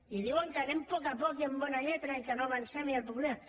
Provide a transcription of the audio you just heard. i diuen que anem a poc a poc i amb bona lletra i que no avancem i el populisme